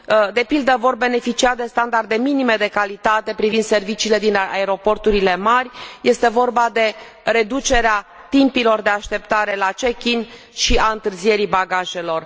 De pildă, vor beneficia de standarde minime de calitate privind serviciile din aeroporturile mari, este vorba de reducerea timpilor de așteptare la check in și a întârzierii bagajelor.